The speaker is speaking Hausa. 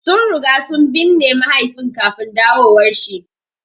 Sun riga sun binne mahaifin kafin dawowar shi.